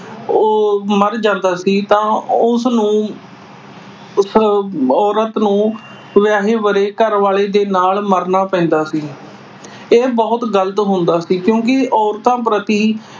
ਅਹ ਮਰ ਜਾਂਦਾ ਸੀ ਤਾਂ ਉਸ ਨੂੰ ਅਹ ਔਰਤ ਨੂੰ ਵਿਆਹੇ-ਵਰੇ ਘਰਵਾਲੇ ਦੇ ਨਾਲ ਮਰਨਾ ਪੈਂਦਾ ਸੀ। ਇਹ ਬਹੁਤ ਗਲਤ ਹੁੰਦਾ ਸੀ ਕਿਉਂਕਿ ਔਰਤਾਂ ਪ੍ਰਤੀ